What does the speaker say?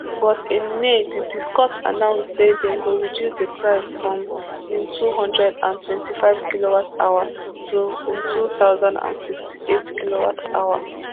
but in may di discos announce say dem go reduce the price from ntwo hundred and twenty-five kilowatt to ntwo thousand and sixty-eight kilowatt